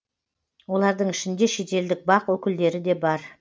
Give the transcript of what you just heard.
олардың ішінде шетелдік бақ өкілдері де бар